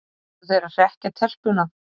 Voru þeir að hrekkja telpuna?